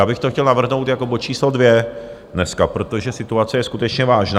Já bych to chtěl navrhnout jako bod číslo 2 dneska, protože situace je skutečně vážná.